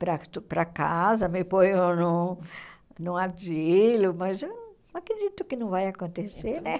para uh para casa, me ponham num num asilo, mas eu não acredito que não vai acontecer, né?